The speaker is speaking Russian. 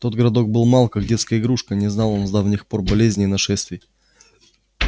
тот городок был мал как детская игрушка не знал он с давних пор болезней и нашествий